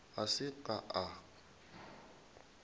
ga se a ka a